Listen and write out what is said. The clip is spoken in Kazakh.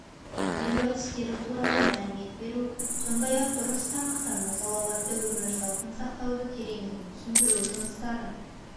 емдеу әдістері туралы мәлімет беру сондай-ақ дұрыс тамақтану салауатты өмір салтын сақтауды тереңірек түсіндіру жұмыстарын